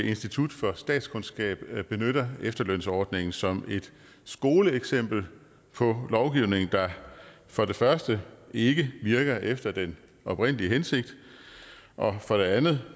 institut for statskundskab benytter efterlønsordningen som et skoleeksempel på lovgivning der for det første ikke virker efter den oprindelige hensigt og for det andet